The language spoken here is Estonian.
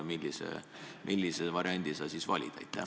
Millise variandi sa valid?